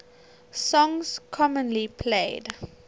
songs commonly played